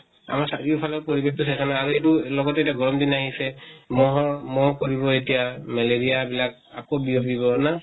আমাৰ চাৰিও ফালৰ পৰিবেশ টো সেই কাৰণে আৰু এইটো লগতে এটা গৰম দিন আহিছে, মহৰ মহ পৰিব এতিয়া। মেলেৰিয়া বিলাক আকৌ বিয়পিব না?